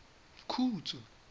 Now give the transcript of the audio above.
khutso